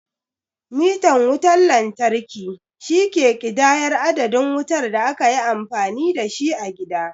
Mitan wutan lantarki, shi ke ƙidayar adadin wutar da aka yi amfani da shi a gida.